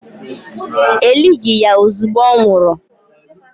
E lighi ya ozugbo ọ nwụrụ